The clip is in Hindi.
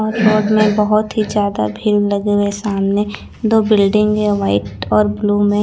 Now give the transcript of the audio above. में बहोत ही ज्यादा भीड़ लगे हुए सामने दो बिल्डिंग है व्हाइट और ब्लू में--